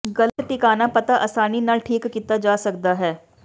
ਗਲਤ ਟਿਕਾਣਾ ਪਤਾ ਆਸਾਨੀ ਨਾਲ ਠੀਕ ਕੀਤਾ ਜਾ ਸਕਦਾ ਹੈ